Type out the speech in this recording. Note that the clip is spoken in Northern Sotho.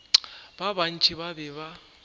ba bantši ba be ba